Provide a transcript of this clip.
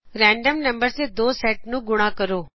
random number ਦੇ ਦੋ sets ਨੂੰ ਗੁਣਾ ਕਰੇ